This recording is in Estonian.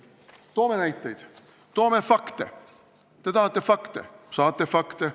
Me toome näiteid, toome fakte – te tahate fakte, te saate fakte.